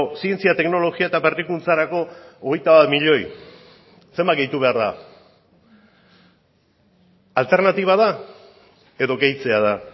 zientzia teknologia eta berrikuntzarako hogeita bat milioi zenbat gehitu behar da alternatiba da edo gehitzea da